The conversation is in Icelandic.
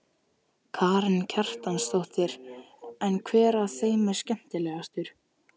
Karen Kjartansdóttir: En hver af þeim er skemmtilegastur?